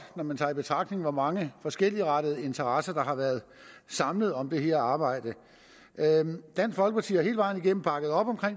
når man tager i betragtning hvor mange forskelligartede interesser der har været samlet om det her arbejde dansk folkeparti har hele vejen igennem bakket op om